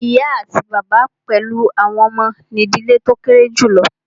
Ìyá àti bàbá pẹlú àwọn ọmọ ní ìdílé tí o kéré julọ.